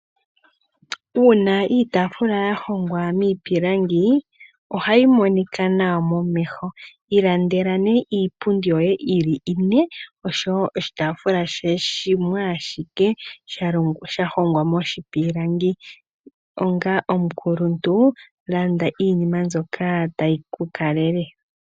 Uuna iitaafula ya hongwa miipilangi ohayi monika nawa momeho. Ilandela nee iipundi yoye yi li ine nosho wo oshitaafula shimwe ashike sha hongwa moshipilangi. Onga omukuluntu landa iinima mbyoka tayi ku kalele.